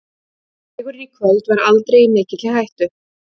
Sigurinn í kvöld var aldrei í mikilli hættu.